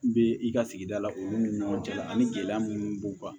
Bɛ i ka sigida la olu ni ɲɔgɔn cɛ ani gɛlɛya minnu b'u kan